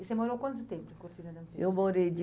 E você morou quanto tempo em Cortina D'Ampezzo? Eu morei de